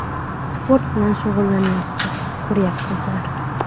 Sport bilan shug‘ullanyapti, ko‘ryapsizlar.